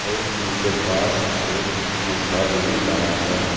और इनके पास एक मग्गा भी धरा है।